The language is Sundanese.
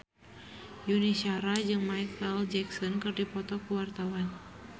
Yuni Shara jeung Micheal Jackson keur dipoto ku wartawan